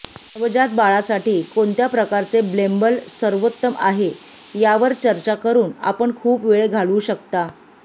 नवजात बाळासाठी कोणत्या प्रकारचे ब्लेंबल सर्वोत्तम आहे यावर चर्चा करून आपण खूप वेळ घालवू शकता